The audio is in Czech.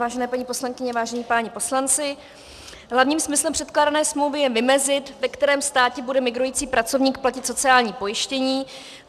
Vážené paní poslankyně, vážení páni poslanci, hlavním smyslem předkládané smlouvy je vymezit, ve kterém státě bude migrující pracovník platit sociální pojištění.